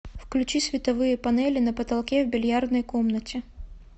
включи световые панели на потолке в бильярдной комнате